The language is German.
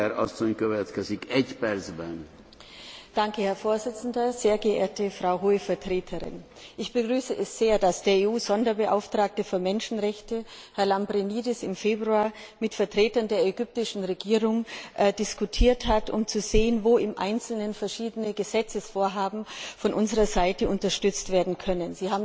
Herr Präsident, sehr geehrte Frau Hohe Vertreterin! Ich begrüße es sehr, dass der EU Sonderbeauftragte für Menschenrechte, Herr Lambrinidis, im Februar mit Vertretern der ägyptischen Regierung diskutiert hat, um zu sehen, wo im Einzelnen verschiedene Gesetzesvorhaben von unserer Seite unterstützt werden können.